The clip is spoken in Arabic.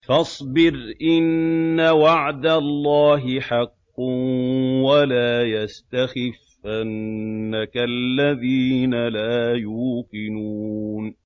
فَاصْبِرْ إِنَّ وَعْدَ اللَّهِ حَقٌّ ۖ وَلَا يَسْتَخِفَّنَّكَ الَّذِينَ لَا يُوقِنُونَ